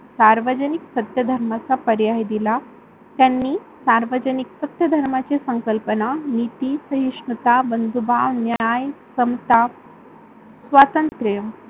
सार्वजनिक सत्यधर्माचा पर्याय दिला. त्यांनी सार्वजनिक सत्यधर्माची संकल्पना नीती, सहिष्णुता, बंधुभाव, न्याय, संताप, स्वतंत्र